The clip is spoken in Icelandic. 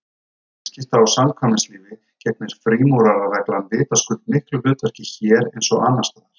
Í viðskipta- og samkvæmislífi gegnir frímúrarareglan vitaskuld miklu hlutverki hér eins og annars staðar.